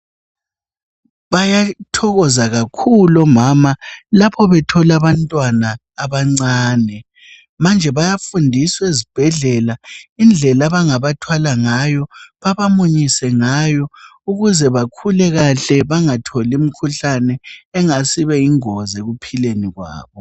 Bayathokoza kakhulu omama lapho bethola abantwana abancane. Manje bayafundiswe zibhedlela indlela bangabathwala ngayo babamunyise ngayo ukuze bakhule kahle bangatholimkhuhlane engasibeyingozi ekuphileni kwabo.